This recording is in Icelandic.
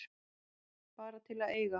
Bara til að eiga.